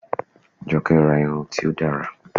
Jọkẹ́ ra irun tí ó dára